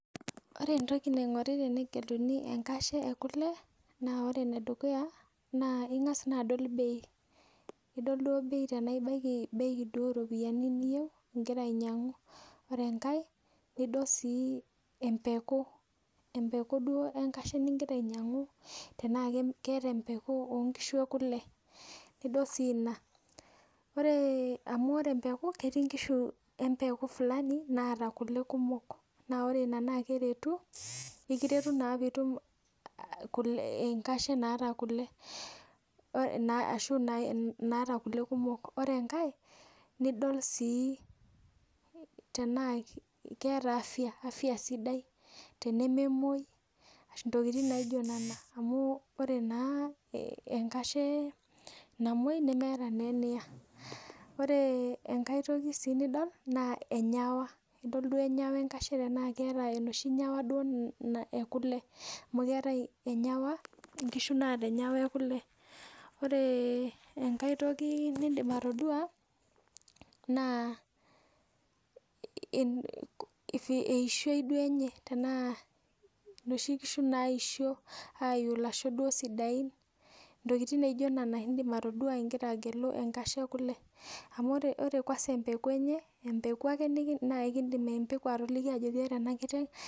Orw entoki nainguri tenegeluni enkashe na ingas adol bei nidol duo anaa ibaki bei oropiyiani niyieu nmingira ainyangu ore enkae nidol empeku enkashe ningira aingoru taanaa empwku enkashe ekule nidol si ina ore naata kule kumok na eliretu peitum enkashe naata kule ashu naata kule kumok ore enkae nidol anaa keera afya sidai tenememoi amu ore enkashe namwoi meeta eniya ore enkae toki nidol na enyawa nidol duo enaa keeta enoshi nyawa ekule amu kewtae enyawa nkishu naata enyawa ekule ore enkae toki nindik atadua naa eishoi enye tanaa noshi kishu naisho aiu lasho amu ore kwanza empeku enye na empeku ake nikidim atoliki ajo ore enakiteng.